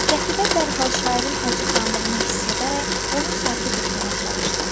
Qətibə dərhal şairin acıqlandığını hiss edərək onu sakit etməyə çalışdı.